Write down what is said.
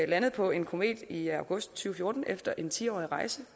landede på en komet i august to tusind fjorten efter en tiårig rejse